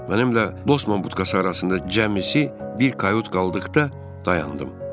Mənimlə qlosman budkası arasında cəmsi bir kayot qaldıqda dayandım.